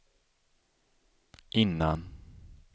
innan